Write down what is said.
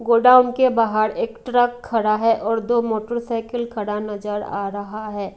गोदाम के बाहर एक ट्रक खड़ा है और दो मोटरसाइकिल खड़ा नजर आ रहा है।